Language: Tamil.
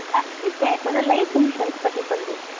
first எனக்கு வந்து, life insurance பத்தி சொல்லுது